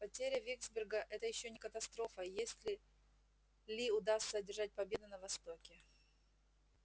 потеря виксберга это ещё не катастрофа если ли удастся одержать победу на востоке